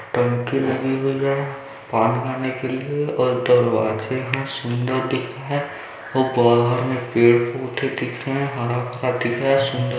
टंकी लगी हुई है पान खाने के लिए और दरवाजे सुन्दर दिख रही है और बाहर मे पेड़ पौधे दिख रहे हैं हरा भरा दिख रहा हैं सुंदर --